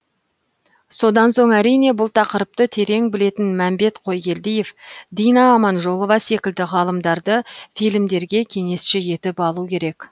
содан соң әрине бұл тақырыпты терең білетін мәмбет қойгелдиев дина аманжолова секілді ғалымдарды фильмдерге кеңесші етіп алу керек